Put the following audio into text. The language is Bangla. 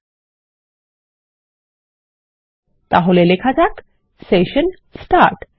তাহলে এখানে লেখা যাক সেশন স্টার্ট